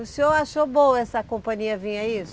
O senhor achou boa essa companhia vim, é isso?